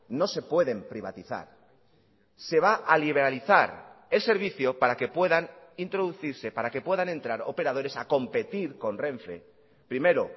no se pueden privatizar se va a liberalizar el servicio para que puedan introducirse para que puedan entrar operadores a competir con renfe primero